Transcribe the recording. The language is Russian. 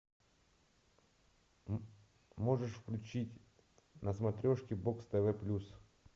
можешь включить на смотрешке бокс тв плюс